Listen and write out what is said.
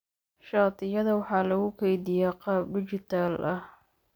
Shatiyada waxaa lagu kaydiyaa qaab dhijitaal ah.